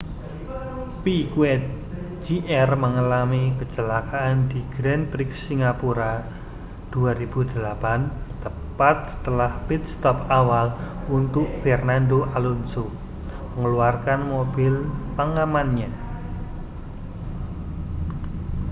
piquet jr mengalami kecelakaan di grand prix singapura 2008 tepat setelah pit stop awal untuk fernando alonso mengeluarkan mobil pengamannya